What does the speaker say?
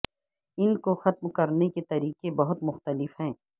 ان کو ختم کرنے کے طریقے بہت مختلف ہیں